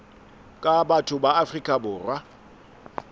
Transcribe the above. ka batho ba afrika borwa